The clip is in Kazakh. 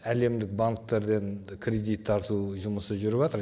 әлемдік банктерден кредит тарту жұмысы жүріватыр